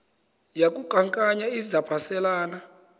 yaku khankanya izaphuselana